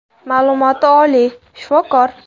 Ma’lumoti oliy, shifokor.